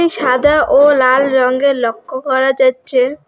সাদা ও লাল রংয়ের লক্ষ করা যাচ্ছে।